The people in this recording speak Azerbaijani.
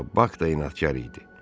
Amma Bak da inadkar idi.